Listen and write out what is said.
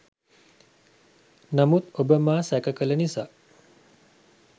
නමුත් ඔබ මා සැක කල නිසා